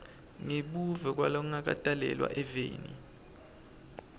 ngebuve kwalongakatalelwa eveni